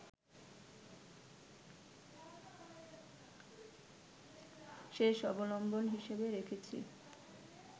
শেষ অবলম্বন হিসেবে রেখেছি